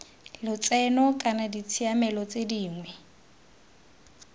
lotseno kana ditshiamelo tse dingwe